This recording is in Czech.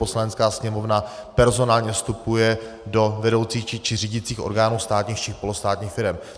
Poslanecká sněmovna personálně vstupuje do vedoucích či řídících orgánů státních či polostátních firem.